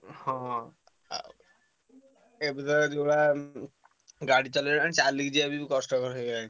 ହଁ। ଆ ଏବେତ ଯୋଉଭଳିଆ ଉଁ ଉଁ ଗାଡି ଚଲେଇଲାଣି ଚାଲିକି ଯିବା ବି କଷ୍ଟକର ହେଇଗଲାଣି।